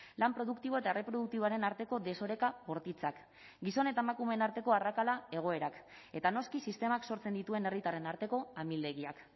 lan produktibo eta erreproduktiboaren arteko desoreka bortitzak gizon eta emakumeen arteko arrakala egoerak eta noski sistemak sortzen dituen herritarren arteko amildegiak